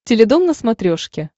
теледом на смотрешке